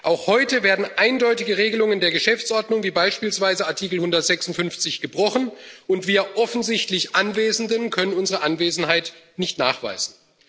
Auch heute werden eindeutige Regelungen der Geschäftsordnung wie beispielsweise Artikel 156 gebrochen, und wir offensichtlich Anwesenden können unsere Anwesenheit nicht nachweisen.